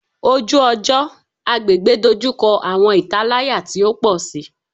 Oju-ọjọ / agbegbe dojukọ awọn italaya ti o pọ si